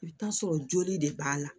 I bɛ t'a sɔrɔ joli de b'a la